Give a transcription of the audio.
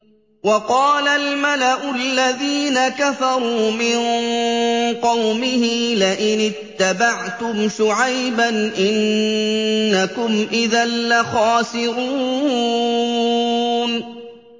وَقَالَ الْمَلَأُ الَّذِينَ كَفَرُوا مِن قَوْمِهِ لَئِنِ اتَّبَعْتُمْ شُعَيْبًا إِنَّكُمْ إِذًا لَّخَاسِرُونَ